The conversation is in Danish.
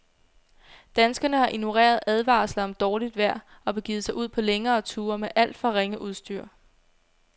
Danskerne har ignoreret advarsler om dårligt vejr og begivet sig ud på længere ture med alt for ringe udstyr.